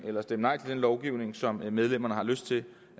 eller nej til en lovgivning som medlemmerne har lyst til